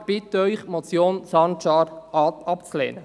Ich bitte Sie, die Motion Sancar abzulehnen.